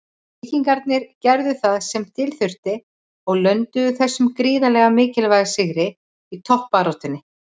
Víkingarnir gerðu það sem til þurfti og lönduðu þessum gríðarlega mikilvæga sigri í toppbaráttunni.